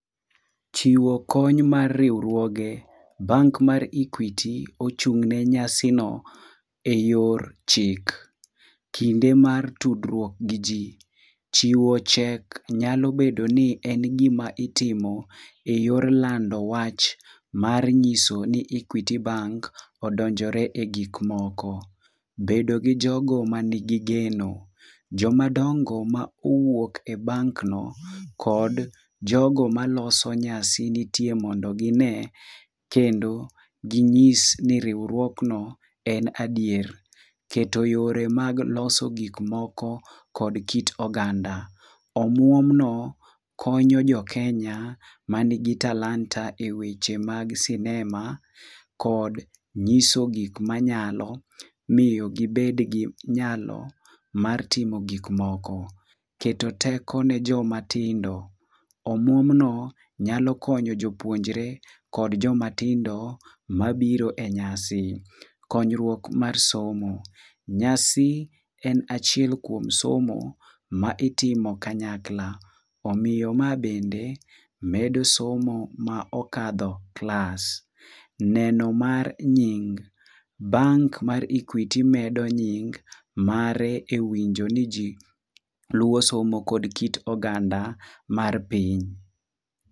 Chiwo kony mar riwruoge, bank mar Equity ochung'ne nyasino e yor chik. Kinde mar tudruok gi ji: chiwo chek nyalo bedo ni gima itimo e yor lando wach mar nyiso ni Equity bank odonjore e gikmoko. Bedo gi jogo ma nigi geno: jomadongo mowuok e bank no, kod jogo maloso nyasi nitie mondo gine kendo ginyis ni riwruokno en adier. Keto yore mag loso gikmoko kod kit oganda. Omuomno konyo jo Kenya manigi talanta e weche mag sinema kod nyiso gik manyalo miyo gibed gi nyalo mar timogikmoko. Keto teko ne joma tinde: omuomno nyalo konyo jopuonjre kod jomatindo mabiro e nyasi. Konyruok mar somo: nyasi en achiel kuom somo ma itimo kanyakla. Omiyo ma bende medo somo ma okadho klas. Neno mar nying: bank mar Equity medo nying mare e winjo ni ji luwo somo kod kit oganda mar piny.